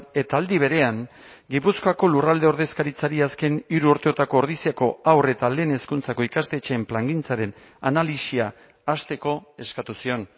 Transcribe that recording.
eta aldi berean gipuzkoako lurralde ordezkaritzari azken hiru urteotako ordiziako haur eta lehen hezkuntzako ikastetxeen plangintzaren analisia hasteko eskatu zion